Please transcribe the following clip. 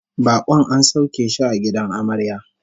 Bakon an sauke shi a gidan amarya